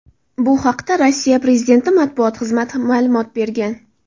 Bu haqda Rossiya prezidenti matbuot xizmati ma’lumot bergan .